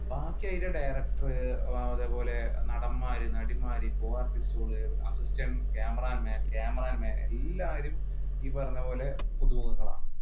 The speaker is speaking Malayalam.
അതിന്റെ ഡയറക്ടർ അതേപോലെ നടൻമാർ, നടിമാർ assistant cameraman, cameraman എല്ലാരും ഈ പറഞ്ഞപോലെ പുതുമുഖങ്ങളാണ്.